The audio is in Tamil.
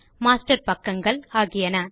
மாஸ்டர் பக்கங்கள் ஆகியன